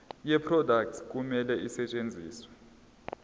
yeproduct kumele isetshenziswe